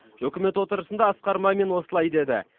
үкімет отырысында асқар мамин осылай деді